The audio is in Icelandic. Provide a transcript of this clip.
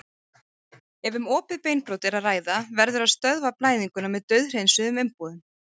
Ef um opið beinbrot er að ræða verður að stöðva blæðinguna með dauðhreinsuðum umbúðum.